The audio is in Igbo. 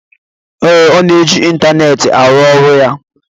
ee, ọ na-eji ịntaneetị arụ ọrụ ya